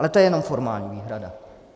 Ale to je jenom formální výhrada.